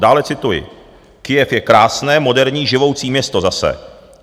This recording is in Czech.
Dále cituji: "Kyjev je krásné, moderní, živoucí město zase.